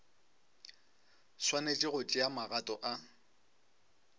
swanetše go tšea magato a